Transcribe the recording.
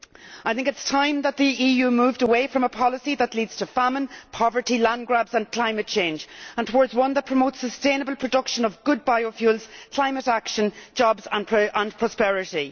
I think it is time that the EU moved away from a policy that leads to famine, poverty, land grabs and climate change and towards one that promotes sustainable production of good biofuels, climate action, jobs and prosperity.